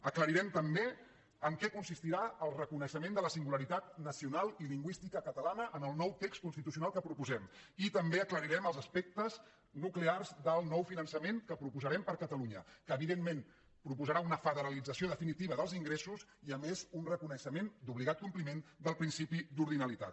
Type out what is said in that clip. aclarirem també en què consistirà el reconeixement de la singularitat nacional i lingüística catalana en el nou text constitucional que proposem i també aclarirem els aspectes nuclears del nou finançament que proposarem per a catalunya que evidentment proposarà una federalització definitiva dels ingressos i a més un reconeixement d’obligat compliment del principi d’ordinalitat